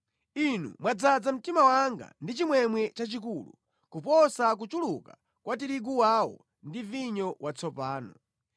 Inu mwadzaza mtima wanga ndi chimwemwe chachikulu kuposa kuchuluka kwa tirigu wawo ndi vinyo watsopano.